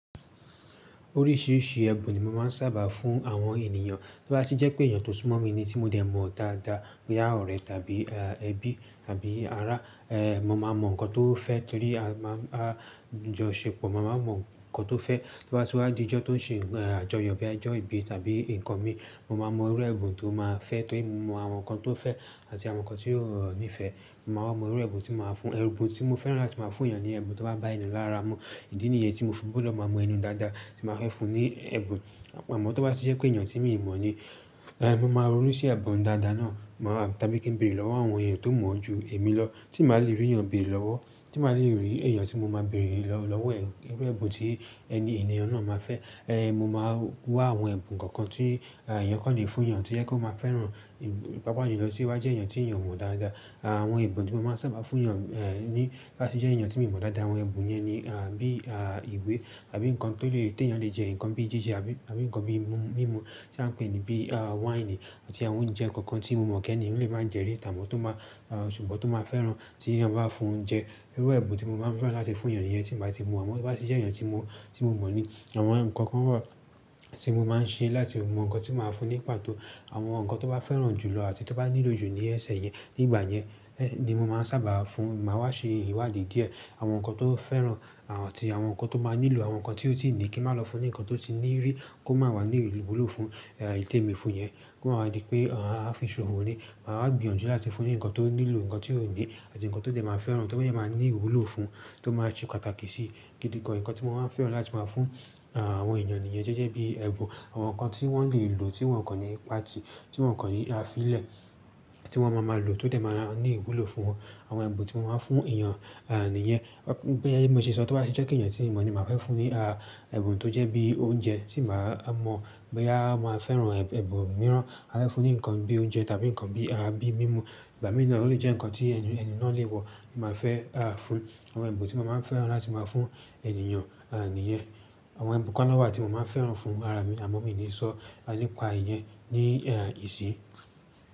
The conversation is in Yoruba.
Oríṣìíríṣìí ẹbun ni mo máa ń sábà fún àwọn ènìyàn. Tó bá sì jẹ́ pé èèyàn tó sumọ̀ mi ní tí mo dẹ̀ mọ̀ dáadáa, boya orẹ tàbí ẹbí tàbí ará, eh, mo máa mọ nǹkan tó fẹ́ torí a máa ń jọ ṣepọ̀. Mo máa mọ nǹkan tó fẹ́. Tí ó bá sì wá di ọjọ́ tó ń ṣe àjọyọ̀ bí i ọjọ́ ìbí tàbí nǹkan mi, mo máa mọ irú ẹbun tó máa fẹ́ torí mo mọ àwọn nǹkan tó fẹ́ àti àwọn nǹkan tí ó ní'fẹ́. Mo máa wa mọ irú ẹbun tí màá fún. Ẹbun tí mo fẹ́rà ti máa fún èèyàn ni ẹbun tó bá bá ènìyen lára mu. Ìdí nìyẹn tí mo fi gbọ́dọ̀ máa mọ ẹni dáadáa tí màá fẹ́ fún ní ẹbun. Àmọ́ tí ó bá sì jẹ́ pé èèyàn tí mi ò mọ̀ ní, eh, mo máa ronú sí ẹbun dáadáa náà. Màá tàbí kí n béèrè lọ́wọ́ àwọn èèyàn tó mọ̀ ọ́ ju èmi lọ, tí màá le rí èèyàn béèrè lọ́wọ́, tí màá le rí èèyàn tí mo máa béèrè lọ́wọ́ e irù ẹbun tí ẹni ènìyàn náà máa fẹ́. Eh, mo máa wá àwọn ẹbun kankan tí èèyàn kọ́ le fún yàn tí yẹ pe o máa fẹ́ràn. Pàápàá jùlọ tí ó bá jẹ́ èèyàn tí èèyàn o mọ̀ dáadáa. Àwọn ẹbun tí mo máa ń sábà fún èèyàn, eh, ní bá sì jẹ́ èèyàn tí mi mọ̀ dáadáa, àwọn ẹbun yẹn ni, ah, bí, ah, ìwé àbí nǹkan tó lè te èèyàn lè jẹ, nǹkan bí jije àbí nǹkan bí mímu tí a ń pè ní bí, ah, wáìnì àti àwọn oúnjẹ kankan tí mo mọ̀ pe èniyii lè máa jẹ rí n ta, but, tó máa, ah, ṣùgbọ́n tó máa fẹ́ràn tí èèyàn bá fún un jẹ. Irú ẹbun tí mo máa ń fẹ́ràn láti fún èèyàn niyen, tí màá ti mọ̀, á mo to bá tì jẹ́ èèyàn tí mo, tí mo mọ̀ ní. Àwọn nǹkan kan wa tí mo máa ń ṣe láti mọ nǹkan tí màá fún un ní pàtó. Àwọn nǹkan tó bá fẹ́ràn jùlọ àti tí ó bá nílò jù ní ẹsẹ̀ yẹn, nígbà yẹn, ẹ́, ni mo máa ń sábà fún un. Màá wá ṣe ìwádìí díẹ̀. Àwọn nǹkan tó fẹ́ràn, àwọn ti àwọn nǹkan tó máa nílò, àwọn nǹkan tí ó sì ní kí màá lọ fún ni nǹkan tó ti ní rí kó máa wá ní ìwúlò fún, e, ìi témi fún yẹn, kó máa di pé àá fi ṣòfò ni. Màá gbìyànjú láti fún ní nǹkan tó nílò, nǹkan tí ó ní àti nǹkan tó lè máa fẹ́ràn, tó lè máa ní ìwúlò fún, tó máa ṣe pàtàkì sí gidi gan. Ǹkan tí mo máa ń fẹ́ràn láti máa fún, ah, àwọn ènìyàn nìyẹn jẹ́jẹ́ bíi ẹbun. Àwọn nǹkan tí wọ́n lè lò tí wọ́n kọ̀ ní pá ti, tí wọ́n kọ̀ ní afílẹ̀ tí wọ́n máa máa lò tó dè máa ní ìwúlò fún wọn. Àwọn ẹbun tí mo máa ń fún èèyàn, ah, nìyẹn. Bí i mo ṣe sọ, tí ó bá sì jẹ́ pe èèyàn tí ì mo mọ̀ ní màá fẹ́ fún ní, ah, ẹbun tó jẹ́ bí i oúnjẹ tí màá mọ̀ bóyá màá fẹ́ràn ẹbun mìíràn. Màá fẹ́ fún ní nǹkan bí i oúnjẹ tàbí nǹkan bí.